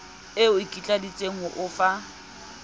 e ikitlaleditse ho o fa